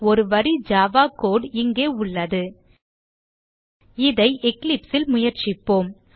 ஒரு வரி Java code இங்கே உள்ளது இதை Eclipse ல் முயற்சிப்போம்